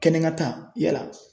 Kɛnɛkan ta yala